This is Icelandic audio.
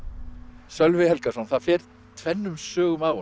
Sölvi Helgason það fer tvennum sögum af honum